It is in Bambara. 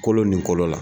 Kolo ni kolo la